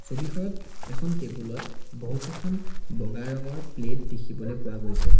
ছবিখনত এখন টেবুল ত বহুকেইখন বগা ৰঙৰ প্লেট দেখিবলৈ পোৱা গৈছে।